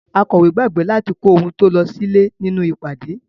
Akọ̀wé gbàgbé láti kó ohun tó lọ sílè nínú ìpàdé.